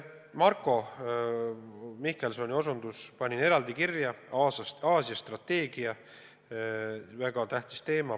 Marko Mihkelsoni osutuse panin eraldi kirja: Aasia strateegia, väga tähtis teema.